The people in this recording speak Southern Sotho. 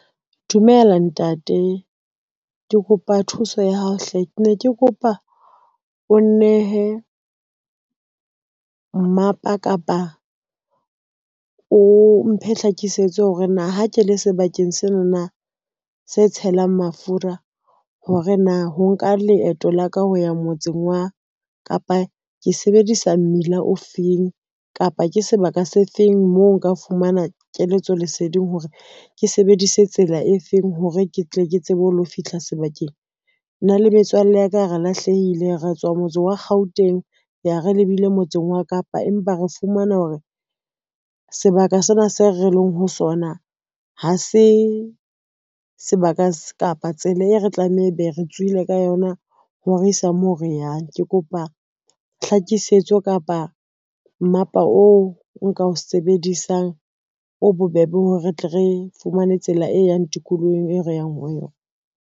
Dumela ntate, ke kopa thuso ya hao hle. Ne ke kopa o nnehe mmapa kapa o mphe hlakisetso hore na ha ke le sebakeng sena na se tshelang mafura hore na ho nka leeto la ka ho ya motseng wa Kapa ke sebedisa mmila o feng kapa ke sebaka se feng moo nka fumana keletso leseding hore ke sebedise tsela e feng hore ke tle ke tsebe ho lo fihla sebakeng. Nna le metswalle ya ka re lahlehile re tswa ho motse wa Gauteng, re re lebile motseng wa Kapa, empa re fumana hore sebaka sena se re leng ho sona ha se sebaka kapa tsela e re tlameha e be re tswile ka yona ho re isa moo re yang. Ke kopa tlhakisetso kapa mmapa oo nka o sebedisang o bobebe hore re tle re fumane tsela e yang tikolohong e re yang ho yona.